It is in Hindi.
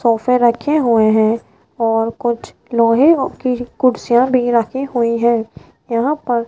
सोफे रखे हुए हैं और कुछ लोहे की कुर्सियां भी रखी हुई हैं यहां पर --